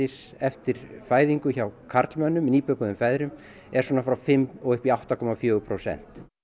eftir fæðingu hjá karlmönnum nýbökuðum feðrum er frá fimm upp í átta komma fjögur prósent